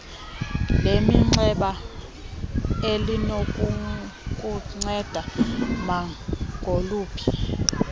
leminxeba elinokukunceda nangoluphi